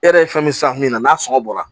E yɛrɛ ye fɛn min san min na n'a sɔngɔ bɔra